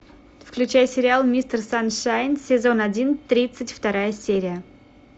включай сериал мистер саншайн сезон один тридцать вторая серия